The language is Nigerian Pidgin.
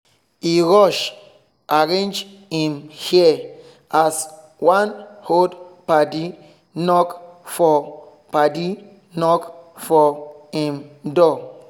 e rush arrange him hair as one old padi knock for padi knock for him door